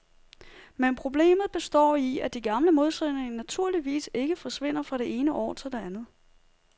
Men problemet består i, at de gamle modsætninger naturligvis ikke forsvinder fra det ene år til det andet.